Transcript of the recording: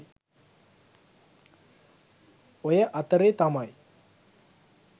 ඔය අතරේ තමයි